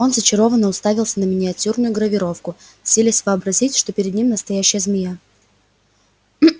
он зачарованно уставился на миниатюрную гравировку силясь вообразить что перед ним настоящая змея